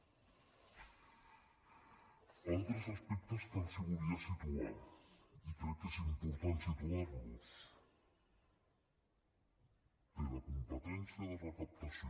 altres aspectes que els volia situar i crec que és important situar los té la competència de recaptació